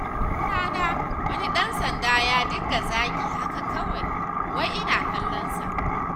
Wata rana wani ɗan sanda ya dinga zagina haka kawai, wai ina kallonsa.